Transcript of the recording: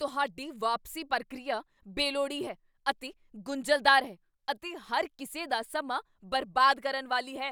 ਤੁਹਾਡੀ ਵਾਪਸੀ ਪ੍ਰਕਿਰਿਆ ਬੇਲੋੜੀ ਹੈ ਅਤੇ ਗੁੰਝਲਦਾਰ ਹੈ ਅਤੇ ਹਰ ਕਿਸੇ ਦਾ ਸਮਾਂ ਬਰਬਾਦ ਕਰਨ ਵਾਲੀ ਹੈ।